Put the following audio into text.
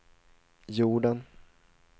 jorden